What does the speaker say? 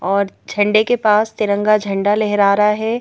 और झंडे के पास तिरंगा झंडा लहरा रहा है।